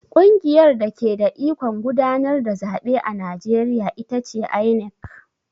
Ƙungiyar dake da ikon gudanar da zaɓe a Najeriya ita ce INEC.